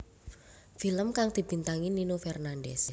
Film kang dibintangi Nino Fernandez